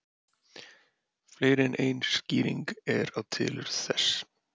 Fleiri en ein skýring er á tilurð þess.